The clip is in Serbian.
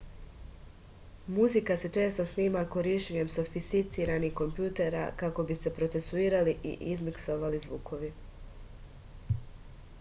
muzika se često snima korišćenjem sofisticiranih kompjutera kako bi se procesuirali i izmiksovali zvukovi